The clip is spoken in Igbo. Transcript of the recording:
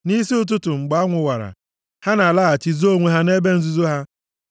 Nʼisi ụtụtụ mgbe anwụ wara, ha na-alaghachi zoo onwe ha nʼebe nzuzo ha.